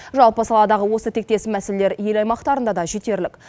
жалпы саладағы осы тектес мәселелер ел аймақтарында да жетерлік